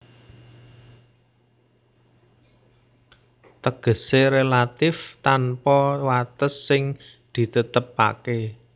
Tegesé relatif tanpa wates sing ditetepaké